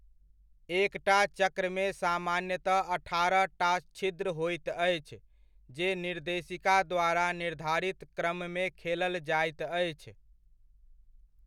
एकटा 'चक्र'मे सामान्यतः अठारहटा छिद्र होइत अछि जे निर्देशिका द्वारा निर्धारित क्रममे खेलल जाइत अछि।